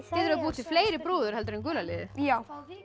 að búa til fleiri brúður heldur en gula liðið já